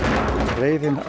reiðin